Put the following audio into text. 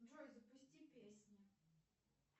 джой запусти песни